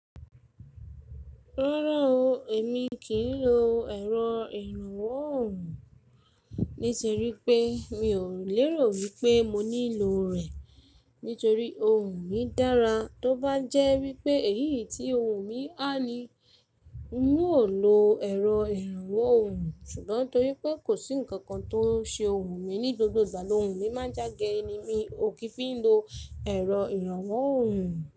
Rárá o, èmi kì í lo ẹ̀rọ ìrànwọ́ ohùn, nítorí pé mi ò lérò wípé mo nílò rẹ̀, nítorí ohùn mi dára. Tóbá jẹ́ wípé èyí tí ohùn mi há ní, ń ó lo ẹ̀rọ ìrànwọ́ ohùn, ṣùgbọ́n torípé kò sí ǹkan kan tó ń ṣe ohùn mi, ní gbogbo ìgbà lóhùn mi máa ń já gere mi, ò kí n fi ń lo ẹ̀rọ ìrànwọ́ ohùn.